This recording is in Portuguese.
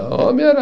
O homem era